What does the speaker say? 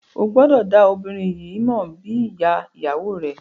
O gbọdọ da obinrin yii mọ bi iya iyawo rẹ.